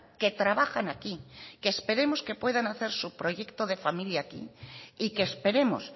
que trabajan aquí que esperemos que puedan hacer su proyecto de familia aquí y que esperemos